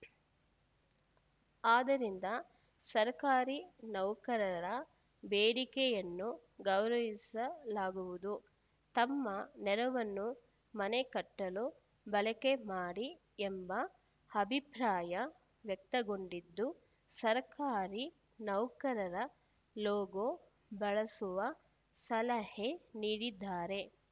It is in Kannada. ಆದ್ದರಿಂದ ಸರ್ಕಾರಿ ನೌಕರರ ಬೇಡಿಕೆಯನ್ನು ಗೌರವಿಸಲಾಗುವುದು ತಮ್ಮ ನೆರವನ್ನು ಮನೆ ಕಟ್ಟಲು ಬಳಕೆ ಮಾಡಿ ಎಂಬ ಅಭಿಪ್ರಾಯ ವ್ಯಕ್ತಗೊಂಡಿದ್ದು ಸರ್ಕಾರಿ ನೌಕರರ ಲೋಗೋ ಬಳಸುವ ಸಲಹೆ ನೀಡಿದ್ದಾರೆ